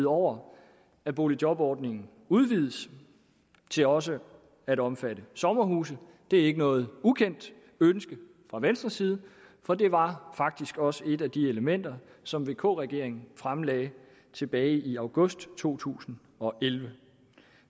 over at boligjobordning udvides til også at omfatte sommerhuse det er ikke noget ukendt ønske fra venstres side for det var faktisk også et af de elementer som vk regeringen fremlagde tilbage i august to tusind og elleve